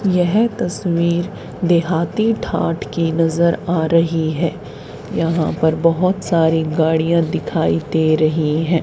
यह तस्वीर देहाती ठाठ की नजर आ रही है यहां पर बहोत सारी गाड़ियां दिखाई दे रही हैं।